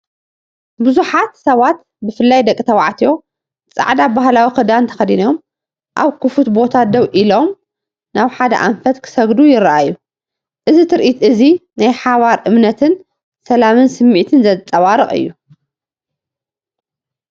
ብዙሓት ሰባት ብፍላይ ደቂ ተባዕትዮ ጻዕዳ ባህላዊ ክዳን ተኸዲኖም፡ ኣብ ክፉት ቦታ ደው ኢሎም፡ ናብ ሓደ ኣንፈት ክሰግዱ ይረኣዩ። እዚ ትርኢት እዚ ናይ ሓባር እምነትን ሰላምን ስምዒት ዘንጸባርቕ እዩ።